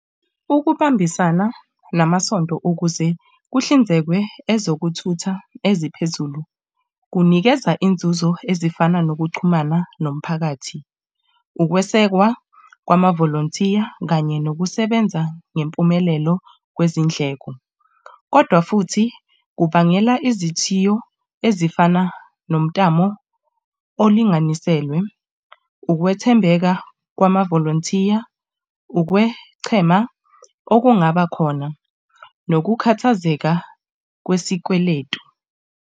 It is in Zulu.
Ukubambisana namasonto ukuze kuhlinzekwe ezokuthutha eziphezulu kunikeza inzuzo ezifana nokuxhumana nomphakathi. Ukwesekwa kwamavolonthiya kanye nokusebenza ngempumelelo kwezindleko, kodwa futhi kubangela izithiyo ezifana nomtamo olinganiselwe ukwethembeka kwamavolonthiya, ukwechema okungabakhona nokukhathazeka kwesikweletu.